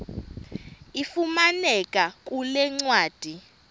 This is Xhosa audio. ifumaneka kule ncwadi